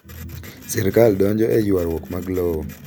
Sirkal donjo e ywarruok mag lowo.